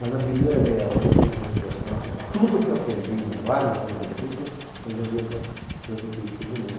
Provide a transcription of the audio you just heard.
Mas na primeira meia hora eu tive a impressão que tudo que eu aprendi em vários anos de estudo, eu já havia trans transmitido para os meninos.